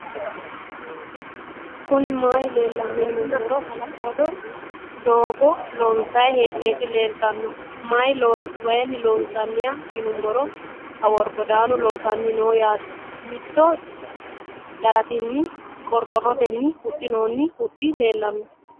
kuuni mayi leelano yiinumoro hala 'lado fogo lonsayi he'noyiti leltano mayi loosanoya yinumoro awuri godanu loosanni noo yaate mitto daratenni qoroqoroteni huuuxinonni huuxi leelano.